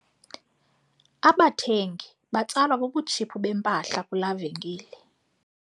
Abathengi batsalwa bubutshiphu bempahla kulaa venkile.